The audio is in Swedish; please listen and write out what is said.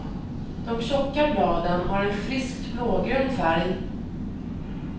De tjocka bladen har en friskt blågrön färg.